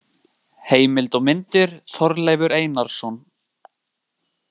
Heimild og myndir: Þorleifur Einarsson.